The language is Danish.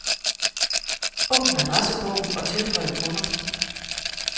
Åbn adressebog og tilføj kunder.